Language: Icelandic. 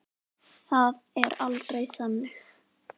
Það er aldrei þannig.